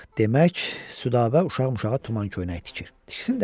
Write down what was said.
Demək, Südabə uşaq-muşaq tumal köynəyi tikir, tiksin də.